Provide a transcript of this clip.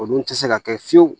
O dun tɛ se ka kɛ fiyewu